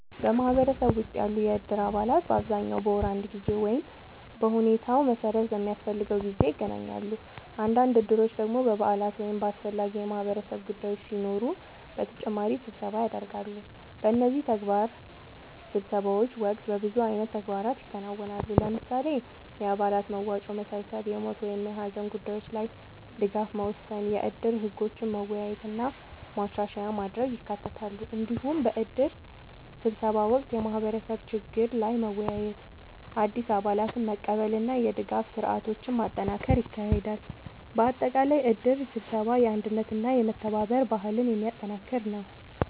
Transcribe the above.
በማህበረሰብ ውስጥ ያሉ የእድር አባላት በአብዛኛው በወር አንድ ጊዜ ወይም በሁኔታው መሠረት በሚያስፈልገው ጊዜ ይገናኛሉ። አንዳንድ እድሮች ደግሞ በበዓላት ወይም በአስፈላጊ የማህበረሰብ ጉዳዮች ሲኖሩ በተጨማሪ ስብሰባ ያደርጋሉ። በእነዚህ ስብሰባዎች ወቅት በብዙ አይነት ተግባራት ይከናወናሉ። ለምሳሌ፣ የአባላት መዋጮ መሰብሰብ፣ የሞት ወይም የሀዘን ጉዳዮች ላይ ድጋፍ መወሰን፣ የእድር ህጎችን መወያየት እና ማሻሻያ ማድረግ ይካተታሉ። እንዲሁም በእድር ስብሰባ ወቅት የማህበረሰብ ችግሮች ላይ መወያየት፣ አዲስ አባላትን መቀበል እና የድጋፍ ስርዓቶችን ማጠናከር ይካሄዳል። በአጠቃላይ እድር ስብሰባ የአንድነትና የመተባበር ባህልን የሚያጠናክር ነው።